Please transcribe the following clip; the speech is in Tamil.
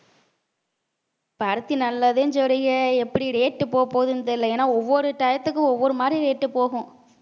பருத்தி நல்லதுனு சொல்றிங்க எப்படி rate போப் போதுன்னு தெரியலே ஏன்னா ஒவ்வொரு டயத்துக்கும் ஒவ்வொரு மாதிரி rate போகும்